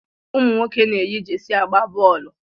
Ụmụnwoke na- eyi jeersey agba boolu.